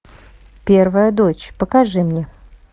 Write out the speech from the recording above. первая дочь покажи мне